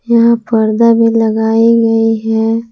यहां पर्दे भी लगाए गए हैं।